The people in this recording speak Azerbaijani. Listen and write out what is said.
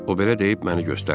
O belə deyib məni göstərdi.